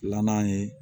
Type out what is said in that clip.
Filanan ye